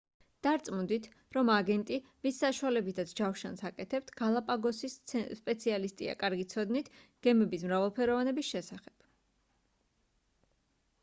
დარწმუნდით რომ აგენტი ვის საშუალებითაც ჯავშანს აკეთებთ გალაპაგოსის სპეციალისტია კარგი ცოდნით გემების მრავალფეროვანების შესახებ